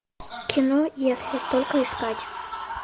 кино если только искать